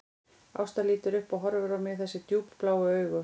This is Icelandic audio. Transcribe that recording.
Ásta lítur upp og horfir á mig þessum djúpbláu augum